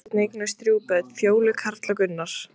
Mamma og Þorsteinn eignuðust þrjú börn, Fjólu, Karl og Gunnar.